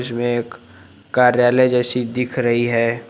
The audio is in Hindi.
वे एक कार्यालय जैसी दिख रही है।